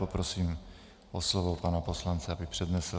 Poprosím o slovo pana poslance, aby přednesl.